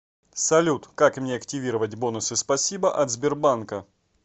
салют как мне активировать бонусы спасибо от сбербанка